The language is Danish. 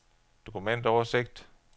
dokumentoversigt